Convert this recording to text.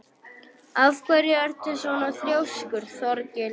Af hverju ertu svona þrjóskur, Þorgils?